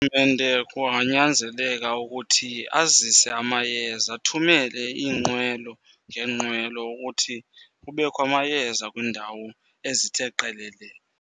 And kunganyanzeleka ukuthi azise amayeza, athumele iinqwelo ngeenqwelo ukuthi kubekho amayeza kwiindawo ezithe qelele.